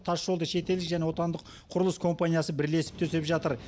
тасжолды шетелдік және отандық құрылыс компаниясы бірлесіп төсеп жатыр